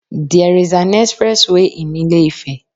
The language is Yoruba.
There is an express way in Ilé Ife